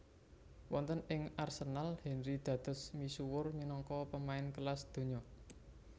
Wonten ing Arsenal Henry dados misuwur minangka pemain kelas donya